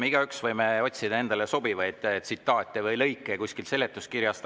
Me igaüks võime otsida endale sobivaid tsitaate või lõike kuskilt seletuskirjast.